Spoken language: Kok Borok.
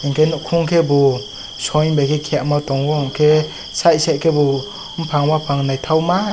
unke bo khum ke bo soil ke bo soima tongo ke site site ke bo bufang bafang nythokma.